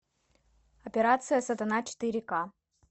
операция сатана четыре ка